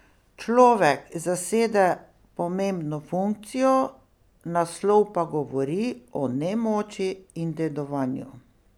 Človek zasede pomembno funkcijo, naslov pa govori o nemoči in dedovanju.